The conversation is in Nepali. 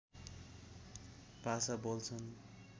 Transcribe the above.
भाषा बोल्छन्